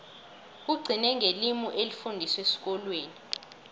kugcine ngelimi elifundiswa esikolweni